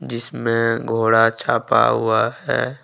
जिसमें घोड़ा छापा हुआ है।